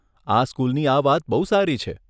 આ સ્કૂલની આ વાત બહું સારી છે.